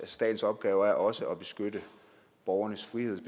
statens opgave er også at beskytte borgernes frihed